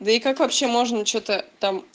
да и как вообще можно что-то там